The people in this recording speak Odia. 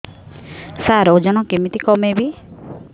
ସାର ଓଜନ କେମିତି କମେଇବି